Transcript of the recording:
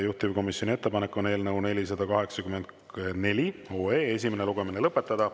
Juhtivkomisjoni ettepanek on eelnõu 484 esimene lugemine lõpetada.